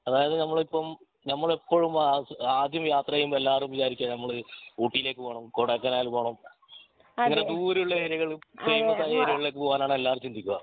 അതായത് ഞമ്മൾ ഇപ്പോം ഞമ്മള് എപ്പോഴും ആ ആദ്യം യാത്ര ചെയ്യുമ്പോ എല്ലാരും വിജാരിക്കെ ഞമ്മള് ഊട്ടിലേക് പോണം കൊടൈക്കനാൽ പോണം അങ്ങിനെ ദൂരെ ഉള്ള ഏരിയകൾ ഫേമസ് ആയ ഏരിയകളിലേക് പോകാൻ ആണ് എല്ലാവരും ചിന്തിക്കുക